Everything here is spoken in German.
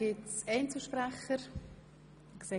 Wird das Wort von Einzelsprechern gewünscht?